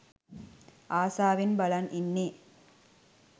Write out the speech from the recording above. ආසාවෙන් බලන් ඉන්නේ